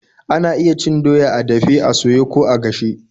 Ana iya cin doya a dafe, a soye, ko a gashe.